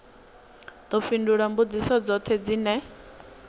ḓo fhindula mbudziso dzoṱhe dzine